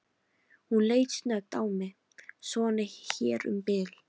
Hún leit snöggt á mig: Svona hér um bil.